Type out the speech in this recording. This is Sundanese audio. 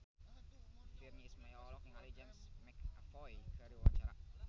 Virnie Ismail olohok ningali James McAvoy keur diwawancara